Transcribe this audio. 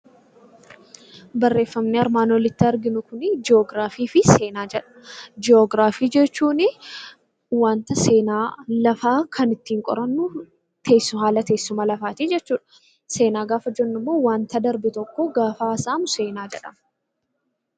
Barreeffamni armaan olitti arginu kuni 'Jiyoogiraafii fi Seenaa' jedha. Jiyoogiraafii jechuuni wanta seenaa lafaa kan ittiin qorannu haala teessuma lafaatii jechuu dha. Seenaa gaafa jennu immoo wanta darbe tokko gaafa haasa'amu seenaa jedhama.